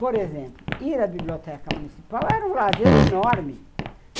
Por exemplo, ir à biblioteca municipal era um lazer enorme.